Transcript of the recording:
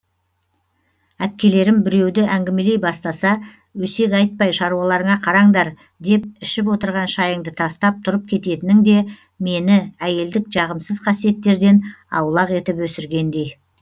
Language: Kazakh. әпкелерім біреуді әңгімелей бастаса өсек айтпай шаруаларыңа қараңдар деп ішіп отырған шайыңды тастап тұрып кететінің де мені әйелдік жағымсыз қасиеттерден аулақ етіп өсіргендей